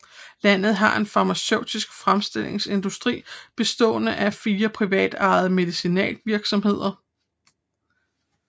Landet har en farmaceutisk fremstillingsindustri bestående af fire privatejede medicinalvirksomheder